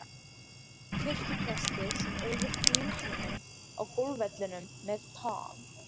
kirkjupresti sem eyðir fríum sínum á golfvellinum með Tom